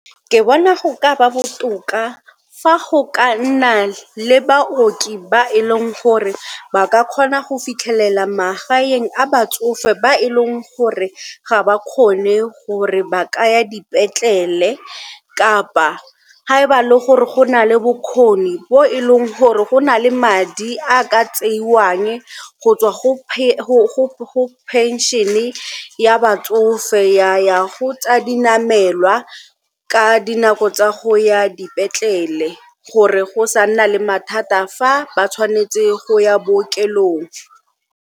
Ke bona go ka ba botoka fa go ka nna le baoki ba e leng gore ba ka kgona go fitlhelela magaeng a batsofe ba e leng gore ga ba kgone gore ba ka ya dipetlele kapa ga e ba le gore go na le bokgoni bo e leng gore go na le madi a ka tseiwang go tswa go phenšene ya batsofe ya ya go tsa dinamelwa ka dinako tsa go ya dipetlele gore go sa nna le mathata fa ba tshwanetse go ya bookelong.